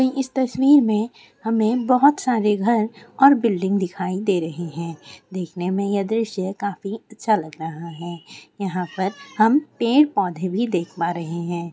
हमें इस तस्वीर में हमें बहुत सारे घर और बिल्डिंग दिखाई दे रहे है देखने में यह दृश्य काफी अच्छा लग रहा हैं यहाँ पर हम पेड़ पौधे भी देख पा रहे हैं ।